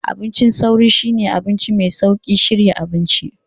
Abincin sauri shine abinci mai sauƙin shirya abinci.